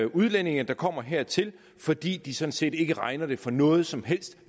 udlændinge der kommer hertil fordi de sådan set ikke regner det for noget som helst